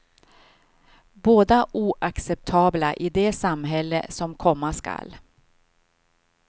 Båda oacceptabla i det samhälle som komma skall.